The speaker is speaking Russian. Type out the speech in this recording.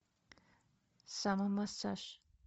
самомассаж